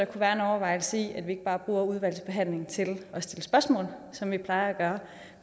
være en overvejelse i at vi ikke bare bruger udvalgsbehandlingen til at stille spørgsmål som vi plejer at gøre